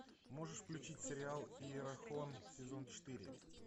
можешь включить сериал иерихон сезон четыре